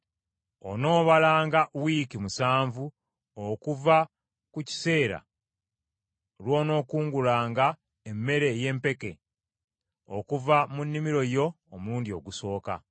Onoobalanga wiiki musanvu okuva ku kiseera lw’onookungulanga emmere ey’empeke okuva mu nnimiro yo omulundi ogusooka.